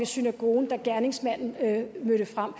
synagogen da gerningsmanden mødte frem